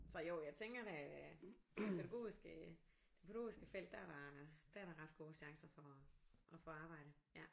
Så jo jeg tænker da det pædagogiske det pædagogiske felt der er der der er der ret gode chancer for at få arbejde ja